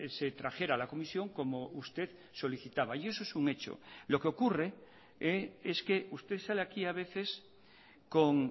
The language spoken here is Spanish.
se trajera a la comisión como usted solicitaba y eso es un hecho lo que ocurre es que usted sale aquí a veces con